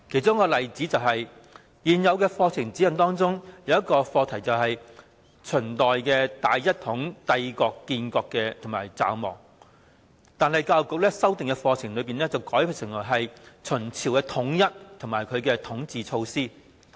在現有課程指引中，有一項課題是"秦代大一統帝國的建立與驟亡"，但在教育局修訂的課程中，卻把它改為"秦朝的統一及其統治措施"。